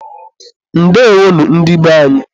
Ndeewonu, ndị be anyị.